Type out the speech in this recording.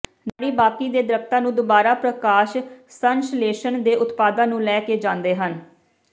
ਨਾੜੀ ਬਾਕੀ ਦੇ ਦਰੱਖਤਾਂ ਨੂੰ ਦੁਬਾਰਾ ਪ੍ਰਕਾਸ਼ ਸੰਸ਼ਲੇਸ਼ਣ ਦੇ ਉਤਪਾਦਾਂ ਨੂੰ ਲੈ ਕੇ ਜਾਂਦੇ ਹਨ